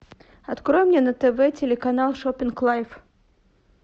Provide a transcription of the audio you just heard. открой мне на тв телеканал шоппинг лайф